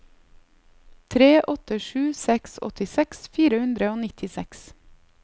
tre åtte sju seks åttiseks fire hundre og nittiseks